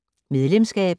Medlemskab